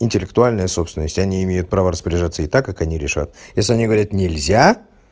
интеллектуальная собственность они имеют право распоряжаться ей так как они решат если они говорят нельзя